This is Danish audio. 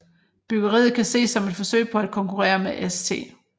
Byggeriet kan ses som et forsøg på at konkurrere med St